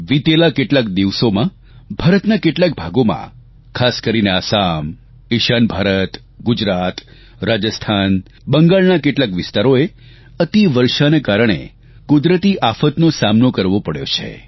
વીતેલા કેટલાક દિવસોમાં ભારતના કેટલાક ભાગોમાં ખાસ કરીને આસામ ઇશાન ભારત ગુજરાત રાજસ્થાન બંગાળના કેટલાક વિસ્તારોએ અતિવર્ષના કારણે કુદરતી આફતનો સામનો કરવો પડ્યો છે